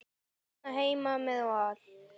Hér heima með Val.